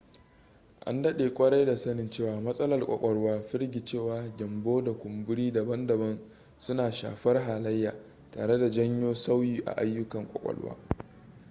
an daɗe kwarai da sanin cewa matsalar ƙwaƙwalwa firgicewa gyambo da kumburi daban-daban suna shafar halayya tare janyo sauyi a aiyukan ƙwaƙwalwa